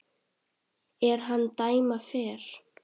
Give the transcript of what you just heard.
er hann dæma fer